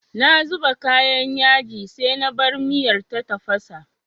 Na zuba kayan yaji sai na bar miyar ta tafasa.